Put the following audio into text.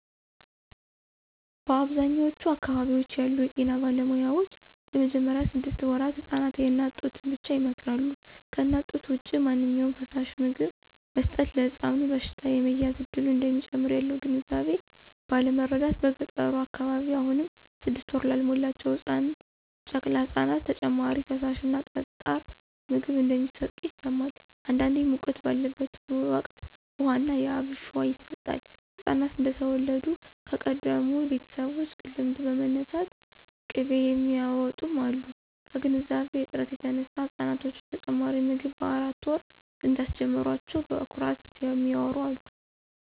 በአብዛኛዎቹ አካባቢዎች ያሉ የጤና ባለሙያዎች በመጀመሪያ ስድስት ወራት ህፃናት የእናት ጡትን ብቻ ይመክራሉ። ከእናት ጡት ውጭ ማንኛውም ፈሳሽ/ምግብ መስጠት ለሕፃኑ በሽታ የመያዝ እድልን እንደሚጨምር ያለው ግንዛቤ ባለማረዳት በገጠሩ አካባቢ አሁንም ስድስት ወር ላልሞላቸው ጨቅላ ህፃናት ተጨማሪ ፈሳሽ እና ጠጣር ምግብ እንደሚሰጡ ይሰማል። አንዳንዴ ሙቀት ባለበት ወቅት ውሃ ና የአብሽ ውሃ ይሰጣል፣ ህፃናት እንደተወለዱ ከቀደሙ ቤተሰቦች ልምድ በመነሳት ቅቤ የሚያውጡም አሉ። ከግንዛቤ እጥረት የተነሳ ህፃናቶችን ተጨማሪ ምግብ በአራት ወር እንዳስጀመሯቸው በኩራት የሚያዎሩ አሉ።